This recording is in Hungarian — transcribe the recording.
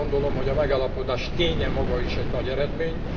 Én azt gondolom, hogy a megállapodás ténye maga is nagy eredmény.